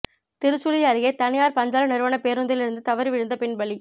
திருச்சுழி அருகே தனியார் பஞ்சாலை நிறுவனப் பேருந்திலிருந்து தவறி விழுந்த பெண் பலி